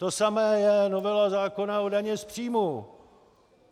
To samé je novela zákona o dani z příjmů.